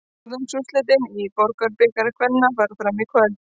Fjórðungsúrslitin í Borgunarbikar kvenna fara fram í kvöld.